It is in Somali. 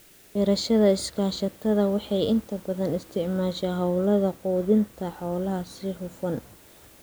Beerashada iskaashatada waxay inta badan u isticmaashaa hawlaha quudinta xoolaha si hufan.